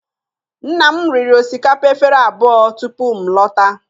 Nna m riri osikapa efere abụọ tupu m lọta